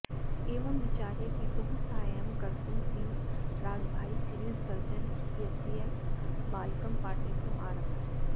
एवं विचार्य पितुः साहाय्यं कर्तुं जीवराजभाई सिविल सर्जन इत्यस्य बालकं पाठयितुम् आरभत